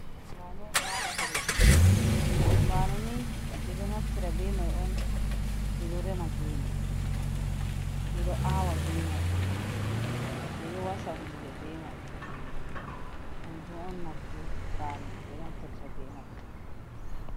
Bano ɗo wali ha leɗɗi. bano ni beɗo naftira bei mai on bi ɗo rema gene. Miɗo awa bei mai. Beɗo wasa hunɗe bei mai. Kanji on nafu banu be naftarta be mai.